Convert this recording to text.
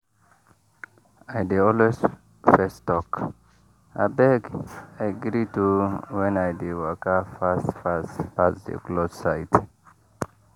i dey always fess talk “abeg i greet o” when i dey waka fast fast pass the cloth side.